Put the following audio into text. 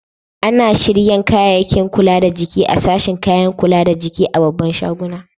Ana shiryan kayakin kula da jiki a'sashin kayakin kula da jiki a'babban shaguna.